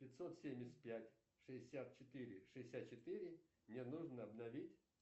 пятьсот семьдесят пять шестьдесят четыре шестьдесят четыре мне нужно обновить